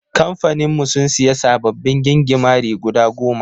Kamfanin mu sun siya sababbin gingimari guda goma/